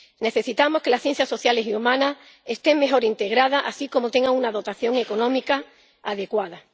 Necesitamos que las ciencias sociales y humanas estén mejor integradas, así como que tengan una dotación económica adecuada.